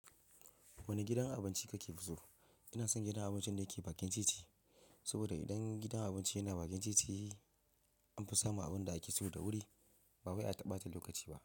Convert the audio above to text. Wane gidan abinci kake fi so? Ina son gidan abincin da yake bakin titi. Saboda idan gidan abinci yana bakin titi, an fi samu abunda ake so da wuri, ba wai a ta bata lokaci ba.